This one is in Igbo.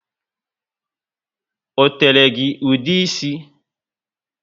O tere gị ude ísì?